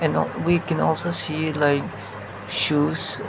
we can also see like shoes.